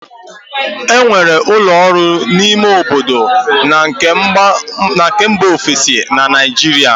E nwere ụlọ ọrụ ime obodo na nke mba ofesi na Naịjirịa